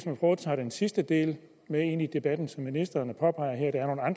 tage den sidste del ind i debatten som ministeren